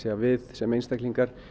að við sem einstaklingar